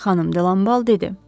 Xanım De Lambal dedi.